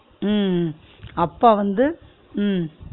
உம் உம் அப்பா வந்து உம்